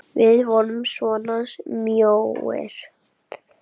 Við vorum svona mjóir!